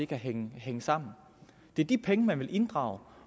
kan hænge sammen og det er de penge man vil inddrage